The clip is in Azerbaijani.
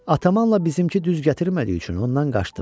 Atamanla bizimki düz gətirmədiyi üçün ondan qaçdım.